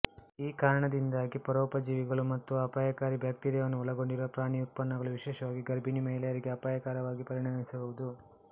ಈ ಕಾರಣದಿಂದಾಗಿ ಪರೋಪಜೀವಿಗಳು ಮತ್ತು ಅಪಾಯಕಾರಿ ಬ್ಯಾಕ್ಟೀರಿಯಾವನ್ನು ಒಳಗೊಂಡಿರುವ ಪ್ರಾಣಿ ಉತ್ಪನ್ನಗಳು ವಿಶೇಷವಾಗಿ ಗರ್ಭಿಣಿ ಮಹಿಳೆಯರಿಗೆ ಅಪಾಯಕರವಾಗಿ ಪರಿಣಮಿಸಬಹುದು